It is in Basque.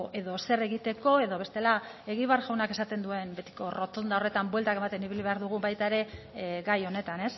edo zer egiteko edo bestela egibar jaunak esaten duen betiko errotonda horretan bueltak ematen ibili behar dugu baita ere gai honetan